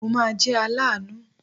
Mo ma jẹ́ aláàánú.